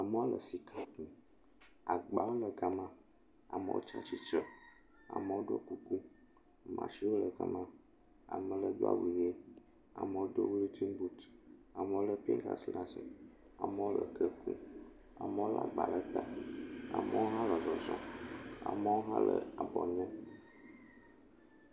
Amewo le sika kum. Agbawo le ga maa. Amewo tsi atsitre. Amewo ɖɔ kuku. Machin wo le ga maa. Ame aɖe do awu ʋɛ. Amewo do wolintin boot. Amewo le gatsi ɖe asi. Amewo le ke kum. Amewo le agba ɖe ta. Amewo hã nɔ zɔzɔm. amewo hã le abɔ nyem